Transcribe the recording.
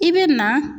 I bɛ na